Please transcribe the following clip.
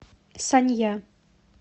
санья